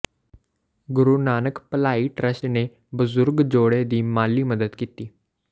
ਗੁਰੂ ਨਾਨਕ ਭਲਾਈ ਟਰੱਸਟ ਨੇ ਬਜ਼ੁਰਗ ਜੋੜੇ ਦੀ ਮਾਲੀ ਮਦਦ ਕੀਤੀ